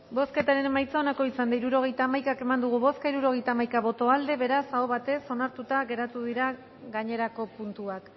bozketaren emaitza onako izan da hirurogeita hamaika eman dugu bozka hirurogeita hamaika boto aldekoa beraz aho batez onartuta geratu dira gainerako puntuak